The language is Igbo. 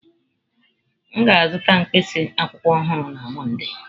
M ga-azụta mkpịsị akwụkwọ ọhụrụ na Mọnde.